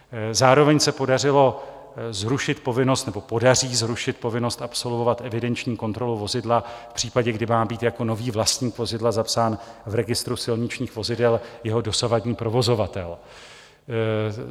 Zároveň se podařilo zrušit povinnost, nebo podaří zrušit povinnost absolvovat evidenční kontrolu vozidla v případě, kdy má být jako nový vlastník vozidla zapsán v registru silničních vozidel jeho dosavadní provozovatel.